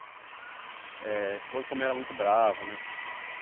Eh, você falou que sua mãe era muito brava, né?